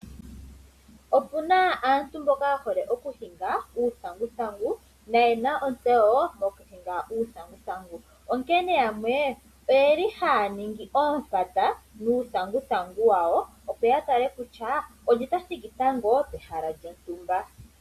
Opuna aantu mboka yehole okuhinga uuthanguthangu, noyena otseyo mokuhinga uuthanguthangu, onkene yamwe oyeli haya ningi oompata nuuthanguthangu wawo opo ya tale kutya, olye ta thiki tango pehala lyontumba.